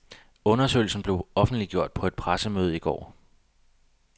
Undersøgelsen blev offentliggjort på et pressemøde i går.